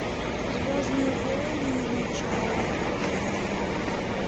звездные войны начало